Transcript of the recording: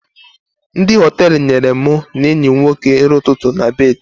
Ndị Họtelụ nyere mụ na enyi m nwoke nri ụtụtụ na bedị